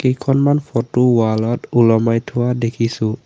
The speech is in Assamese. কেইখনমান ফটো ৱাল ত ওলমাই থোৱা দেখিছোঁ।